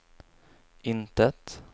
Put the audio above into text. intet